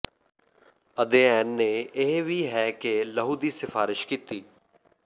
ਅਧਿਐਨ ਨੇ ਇਹ ਵੀ ਹੈ ਕਿ ਲਹੂ ਦੀ ਸਿਫਾਰਸ਼ ਕੀਤੀ